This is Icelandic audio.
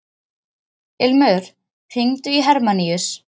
Ilmur, hringdu í Hermanníus.